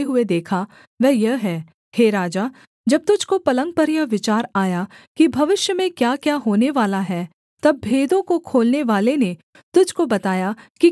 हे राजा जब तुझको पलंग पर यह विचार आया कि भविष्य में क्याक्या होनेवाला है तब भेदों को खोलनेवाले ने तुझको बताया कि क्याक्या होनेवाला है